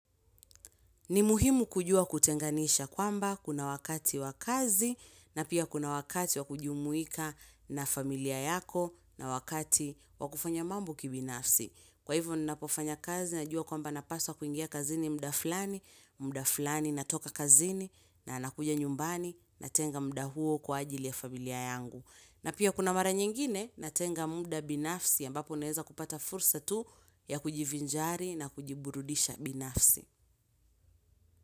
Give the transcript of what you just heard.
Ni muhimu kujua kutenganisha kwamba kuna wakati wa kazi na pia kuna wakati wa kujumuika na familia yako na wakati wakufanya mambo kibinafsi. Kwa hivyo ninapofanya kazi najua kwamba napaswa kuingia kazini muda fulani, muda fulani natoka kazini na nakuja nyumbani natenga muda huo kwa ajili ya familia yangu. Na pia kuna mara nyingine na tenga muda binafsi ya ambapo naeza kupata fursa tu ya kujivinjari na kujiburudisha binafsi.